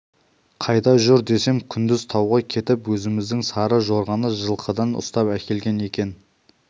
қайда жүр десем күндіз тауға кетіп өзіміздің сары жорғаны жылқыдан ұстап әкелген екен